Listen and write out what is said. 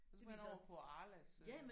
Så må man over på Arlas øh